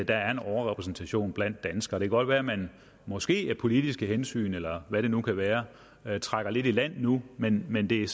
der er en overrepræsentation af danskere det kan godt være at man måske af politiske hensyn eller hvad det nu kan være være trækker lidt i land nu men men det er